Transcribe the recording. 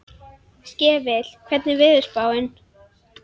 Skefill, hvernig er veðurspáin?